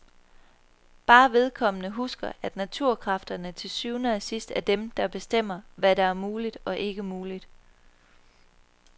Bare vedkommende husker, at naturkræfterne til syvende og sidst er dem, der bestemmer, hvad der er muligt og ikke muligt.